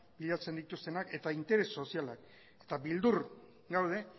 bilatzen dituztenak eta interes sozialak eta beldur gaude